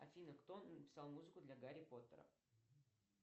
афина кто написал музыку для гарри поттера